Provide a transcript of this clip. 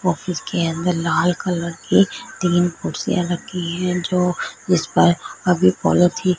office के अंदर लाल कलर के तीन कुर्सियां रखी है जो उस पर अभी पॉलिथीन --